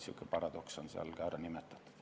Sihuke paradoks on seal ka ära nimetatud.